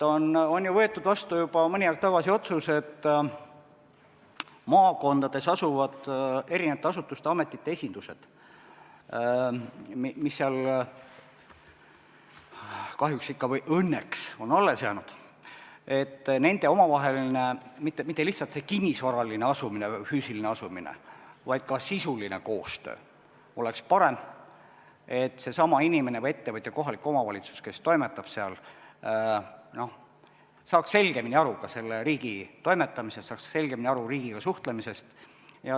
On ju võetud vastu juba mõni aeg tagasi otsus, et maakondades asuvate eri asutuste ja ametite esinduste, mis sinna kahjuks või õnneks on alles jäänud, omavaheline mitte lihtsalt kinnisvaraline asumine või füüsiline asumine, vaid ka sisuline koostöö peaks olema parem, et inimene, ettevõtja või kohalik omavalitsus, kes toimetab seal, saaks selgemini aru riigi toimetamisest, saaks selgemini aru riigiga suhtlemisest.